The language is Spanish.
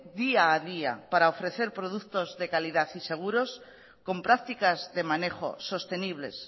día a día para ofrecer productos de calidad y seguros con prácticas de manejo sostenibles